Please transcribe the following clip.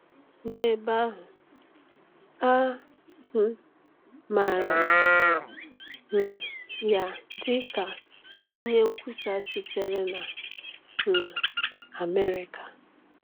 N’ebe ahụ, a um maara um ya dịka onye nkwusa sitere na um Amerịka.